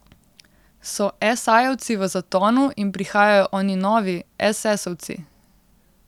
So esajevci v zatonu in prihajajo oni novi, esesovci?